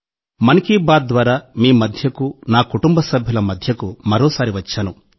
'మన్ కీ బాత్' ద్వారా మీ మధ్యకు నా కుటుంబ సభ్యుల మధ్యకు మరోసారి వచ్చాను